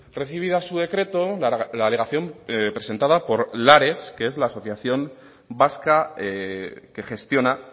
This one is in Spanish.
recibida a su decreto la alegación presentado por lares que es la asociación vasca que gestiona